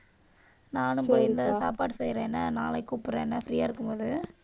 நானும் போய், இந்த சாப்பாடு செய்யறேன் என்ன நாளைக்கு கூப்பிடறேன் என்ன free ஆ இருக்கும்போது.